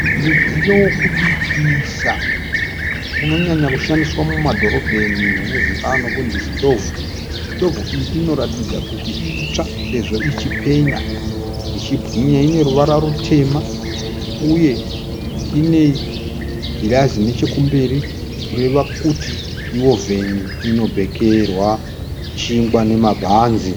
Mudziyo wekubikisa unonyanya kushandiswa mumadhorobheni unozovikanwa nokunzi sitovhu. Sitovhu iyi inoratidza kuti itsva sezvo ichipenya ichibwinya. Ine ruvara rutema uye ine girazi nechekumberi kureva kuti ihovheni inobhekerea chingwa nemabhanzi.